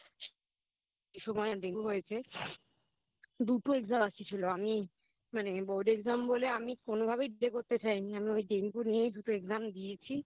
সেই সময় ডেঙ্গু হয়েছে দুটো Exam বাকি ছিল মানে আমি Board exam বলে আমি কোনোভাবেই করতে চাইনি আমি ডেঙ্গু নিয়েই দুটো Exam দিয়েছি